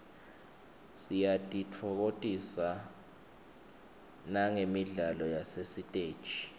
siyatitfokotisa nagemidlalo yasesiteji